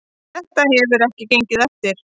Þetta hafi ekki gengið eftir.